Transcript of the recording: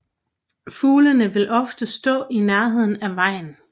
Fuglene vil ofte stå i nærheden af vejen